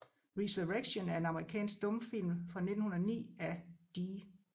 Resurrection er en amerikansk stumfilm fra 1909 af D